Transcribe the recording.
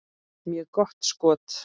Mjög gott skot.